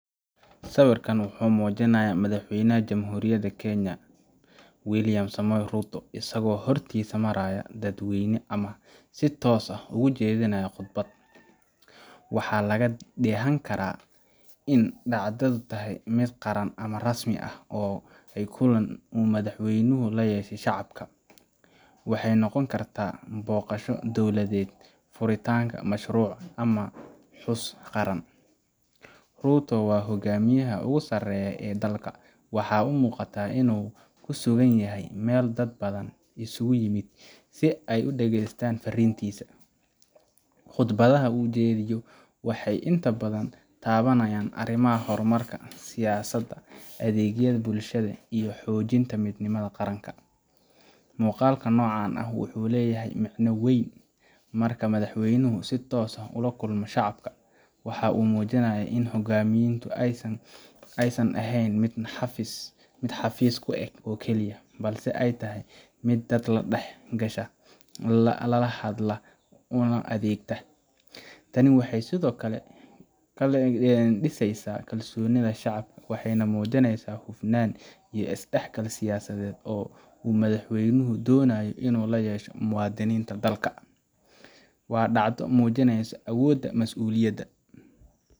Siwirkan wuxu mujinaya madax waynah jaburiyada kenaya, wilyan somoy ruto asago hortas marayo dad wayna ama sii tosah oo ujadinaya qodbad, wax laga dahanaya in dacdada ay tahay mid qaran ama rasmi ah oo kulan oo madax way naxo u layasha shacabka, waxay noqonikartah boqasho dowlada furitanka mashruc xus qaran, ruto hogamiyaha ogu saraya dalka wax u uqatah inu ku suganyahay mal dad badan iskugu yimid sii ay udagstan farintisa, qodbadaha ujadiyoh waxay inta badan tawanayan arimaha hormarka si yasada adigyada bulshda iyo xojinta mid nimad qaranka, muqalkan noqan wuxu lahay micna wan, marka madaxwayno sii toosa ah ola kulamo shacbka waxa umujinaya inu xogamiyanta ay saan ahan xafis xafis ku ag okaliyah sii ay tahay mid dad dax gasha lala hadlah ama adigtah, tani waxay side okle disaysah kalsonida shacbka waxay nah mujinaysah xufnana is dax galka siyasasad uu madaxwaynahu donayoh inu layashoh mu wadinta dalka wa dacda mujinaysoh awoda masuliyada.